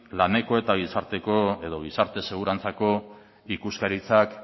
laneko eta gizarte segurantzako ikuskaritzak